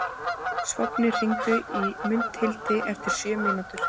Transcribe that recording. Sváfnir, hringdu í Mundhildi eftir sjö mínútur.